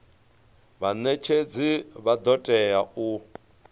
vhanetshedzi vha do tea u